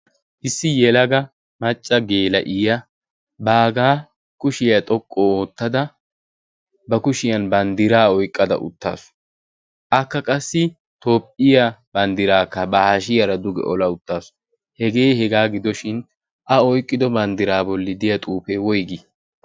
issi yelaga macca geela'iya baagaa kushiyaa xoqqu oottada ba kushiyan banddiraa oiqqada uttaasu. akka qassi toophphiya banddiraakka ba hashiyaara duge ola uttaasu hegee hegaa gidoshin a oyqqido banddiraa bolli deya xuufee woigii?